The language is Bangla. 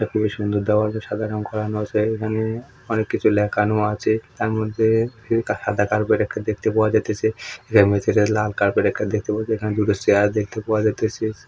এটা খুবই সুন্দর দেওয়াল হচ্ছে সাদা রং করানো আছে। এখানে অনেক কিছু লেখানো আছে। তারমধ্যে সাদা কার্পেট দেখতে পাওয়া যাইতেছে ভেতরে লাল কার্পেট দেখতে পাওয়া যায় এখানে দুটো চেয়ার দেখতে পাওয়া যাইতেছে।